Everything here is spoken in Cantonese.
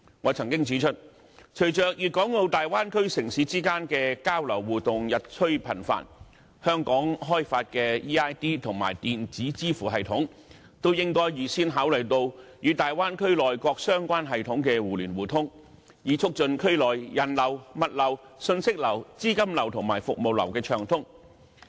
我曾經指出，隨着粵港澳大灣區城市之間的交流互動日趨頻繁，香港開發的 eID 及電子支付系統均應該預先考慮與大灣區內各相關系統的互聯互通，以促進區內人流、物流、訊息流、資金流及服務流的暢通流動。